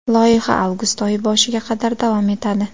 Loyiha avgust oyi boshiga qadar davom etadi.